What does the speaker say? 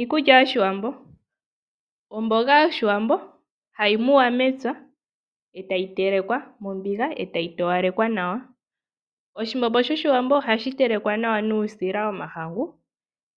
Iikulya yoshiwambo, omboga yoshiwambo hayi muwa mepya e tayi telekwa mombiga e tayi towalekwa nawa. Oshimbombo shoshiwambo ohashi telekwa nawa nuusila womahangu